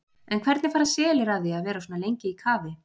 En hvernig fara selir að því að vera svona lengi í kafi?